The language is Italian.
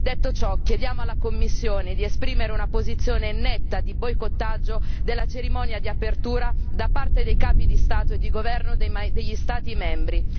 Detto ciò, chiediamo alla Commissione di esprimere una posizione netta di boicottaggio della cerimonia di apertura da parte dei capi di Stato e di governo degli Stati membri.